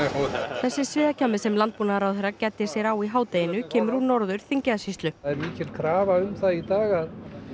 þessi sviðakjammi sem landbúnaðaráðherra gæddi sér á í hádeginu kemur úr Norður Þingeyjarsýslu það er mikil krafa um það í dag að